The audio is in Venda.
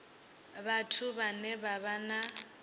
vhathu vhane vha vha na